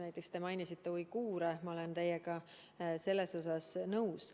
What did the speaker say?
Näiteks te mainisite uiguure ja ma olen teiega selles osas nõus.